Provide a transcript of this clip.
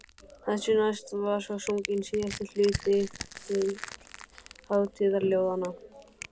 Þessu næst var svo sunginn síðasti hluti hátíðaljóðanna.